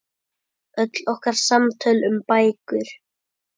Öll okkar samtöl um bækur.